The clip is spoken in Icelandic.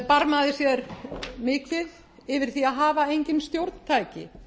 barmaði sér mikið yfir því að hafa engin stjórntæki